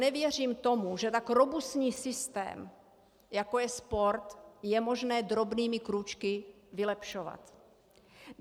Nevěřím tomu, že tak robustní systém, jako je sport, je možné drobnými krůčky vylepšovat.